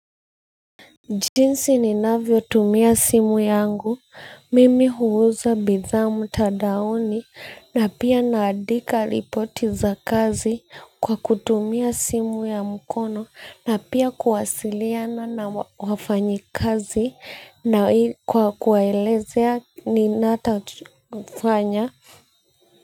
Jinsi ninavyotumia simu yangu, mimi huuza bidhaa mtandaoni na pia naandika ripoti za kazi kwa kutumia simu ya mkono na pia kuwasiliana na wafanyikazi na kwa kuwaelezea ninachofanya.